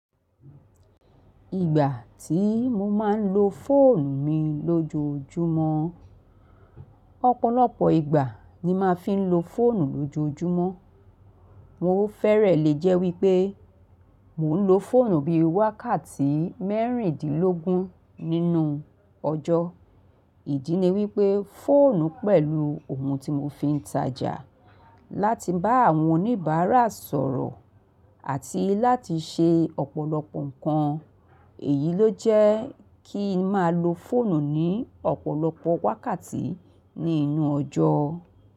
Ìgbà tí mo máa ń lo fóònù mi lójoójúmọ́, ọ̀pọ̀lọpọ̀ ìgbà ni máa fi ń lo fóònù lójoójúmọ́. Mo fẹ́rẹ̀ lè jẹ́ wípé mò ń lo fóònù bí i wákàtí mẹ́rìndínlógún nínú ọjọ́. Ìdí ni wípé fóònù pẹ̀lú ohun tí mo fi ń tajà láti bá àwọn oníbàárà sọ̀rọ̀ àti láti ṣe ọ̀pọ̀lọpọ̀ nǹkan, èyí ló jẹ́ kí ń máa lo fóònù ní ọ̀pọ̀lọpọ̀ wákàtí ní inú ọjọ́